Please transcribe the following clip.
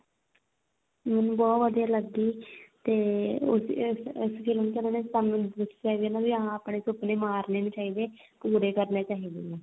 ਮੈਨੂੰ ਬਹੁਤ ਵਧੀਆ ਲੱਗੀ ਤੇ ਉਸ ਚ ਇਸ ਉਸ ਚ film ਚ ਉਹਨਾ ਨੇ ਸਾਨੂੰ ਦੱਸਿਆ ਵੀ ਹਾਂ ਆਪਣੇ ਸੁਪਨੇ ਮਾਰਨੇ ਨਹੀਂ ਚਾਹੀਦੇ ਪੂਰੇ ਕਰਨੇ ਚਾਹੀਦੇ ਨੇ